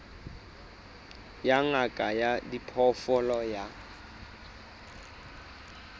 ya ngaka ya diphoofolo ya